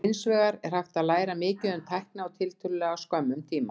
Hins vegar er hægt að læra mikið um tækni á tiltölulega skömmum tíma.